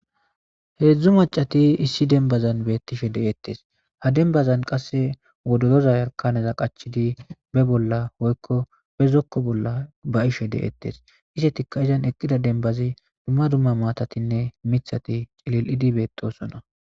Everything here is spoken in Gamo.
heedzdzu maccati issi dembazan beettishe de7ettes ha denbazan qasse wodoroza yarkaneza qachidi be bolla hoykko bezokko bolla ba ishe de7ettes ise tikka izan eqqida denbazi duma duma maatatinne mithati cilil7idi beetosona